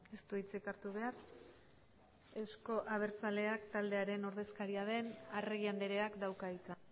ez du hitzik hartu behar euzko abertzaleak taldearen ordezkaria den arregi andreak dauka hitza